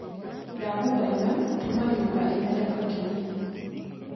ndagũthaĩtha tũma nyumba ithere makĩrĩa